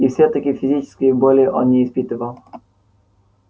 и всё-таки физической боли он не испытывал